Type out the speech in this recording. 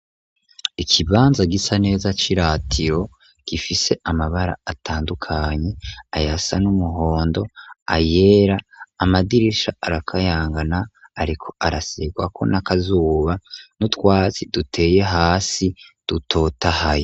Ikibanza gisa neza c'i ratiro gifise amabara atandukanyi ayasa n'umuhondo ayera amadirisha arakayangana, ariko araserwako n'akazuba n'utwatsi duteye hasi dutotahaye.